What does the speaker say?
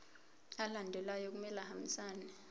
alandelayo kumele ahambisane